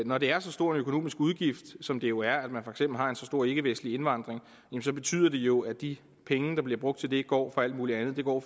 når det er så stor en økonomisk udgift som det jo er at man for eksempel har en så stor ikkevestlig indvandring så betyder det jo at de penge der bliver brugt til det går fra alt mulig andet det går